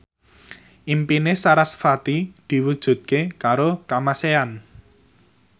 impine sarasvati diwujudke karo Kamasean